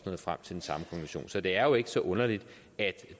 nået frem til så det er jo ikke så underligt at